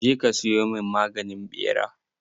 Je ka siyo min maganin ɓera!